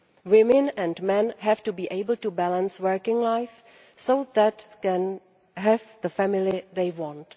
Women and men have to be able to balance working life so that they can have the family they want.